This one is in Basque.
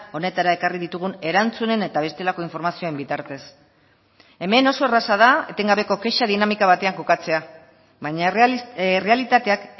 honetara ekarri ditugun erantzunen eta bestelako informazioen bitartez hemen oso erraza da etengabeko kexa dinamika batean kokatzea baina errealitateak